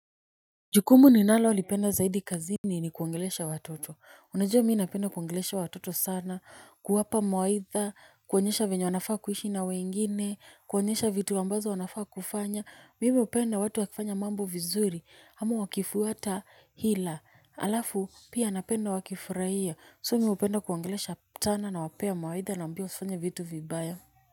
Jukumu ninalo lipenda zaidi kazini ni kuongelesha watoto, unajua mii napenda kuongelesha watoto sana, kuwapa mawaidha, kuwaonyesha vyenye wanafaa kuishi na wengine, kuwaonyesha vitu ambazo wanafaa kufanya, mimi huupenda watu wakifanya mambo vizuri, ama wakifuata hila, halafu pia napenda wakifurahia, so mi hupenda kuongelesha tena nawapea mawaidha nawambia usifanye vitu vibaya.